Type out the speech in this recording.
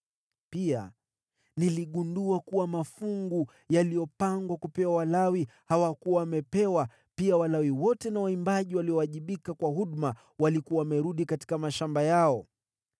Pia niligundua kuwa mafungu yaliyopangwa kupewa Walawi hawakuwa wamepewa, nao Walawi wote na waimbaji waliowajibika kwa huduma walikuwa wamerudi katika mashamba yao.